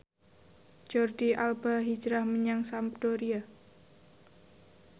Jordi Alba hijrah menyang Sampdoria